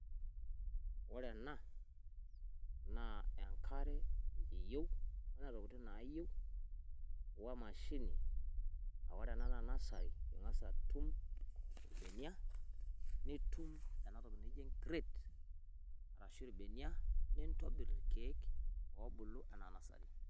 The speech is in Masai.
Ore ena naa enkare iyeu, o ntokiti niyeu oemashine, a ore ena naa nasari ing'as atum ilbenia, nitum ena toki naji crape arashu ilbenia, nintobir ilkeek obulu anaa nasari.